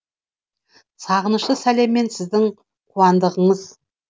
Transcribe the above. сағынышты сәлеммен сіздің қуандығыңыз